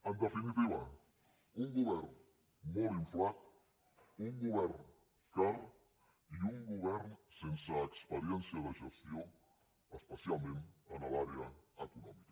en definitiva un govern molt inflat un govern car i un govern sense experiència de gestió especialment en l’àrea econòmica